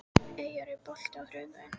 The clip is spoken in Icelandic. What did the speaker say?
Eyjar, er bolti á þriðjudaginn?